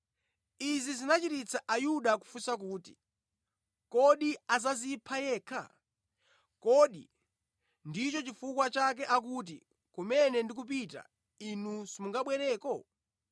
Izi zinachititsa Ayuda kufunsa kuti, “Kodi adzadzipha yekha? Kodi ndicho chifukwa chake akuti, ‘Kumene ndikupita, inu simungabwereko?’ ”